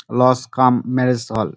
Lodge cum marriage hall.